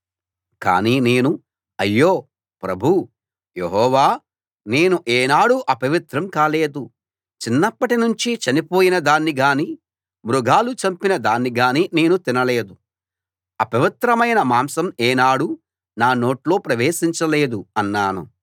కానీ నేను అయ్యో ప్రభూ యెహోవా నేను ఏనాడూ అపవిత్రం కాలేదు చిన్నప్పట్నించి చనిపోయిన దాన్ని గానీ మృగాలు చంపిన దాన్ని గానీ నేను తినలేదు అపవిత్రమైన మాంసం ఏనాడూ నా నోట్లో ప్రవేశించలేదు అన్నాను